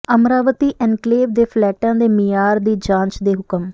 Amaravati enclave ਦੇ ਫਲੈਟਾਂ ਦੇ ਮਿਆਰ ਦੀ ਜਾਂਚ ਦੇ ਹੁਕਮ